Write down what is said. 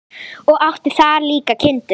Og átti þar líka kindur.